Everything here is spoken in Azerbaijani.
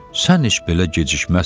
Sən heç belə gecikməzsən.